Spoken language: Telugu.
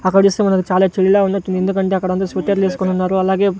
అక్కడ చూస్తే మనం చాలా చలిగా ఉన్నట్టుంది ఎందుకంటే అక్కడ అందరూ స్వెటర్లు వేసుకొని ఉన్నారు అలాగే.